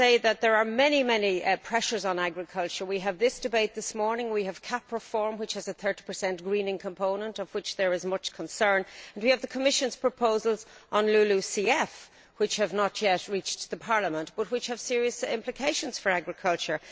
There are many pressures on agriculture. We have this debate this morning, we have the CAP reform, which has a 30 greening component about which there is much concern, and we have the Commission's proposals on LULUCF, which have not yet reached Parliament but which have serious implications for agriculture.